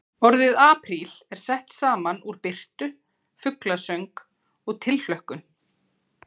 Orðið apríl er sett saman úr birtu, fuglasöng og tilhlökkun.